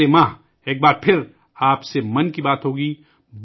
اگلے مہینے ایک بار آپ سے ' من کی بات ' ہوگی